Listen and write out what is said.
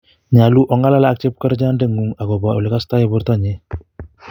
Nyolu ong'alal ak chepkerichot ndeng'un akobo ele kostoi bortonyi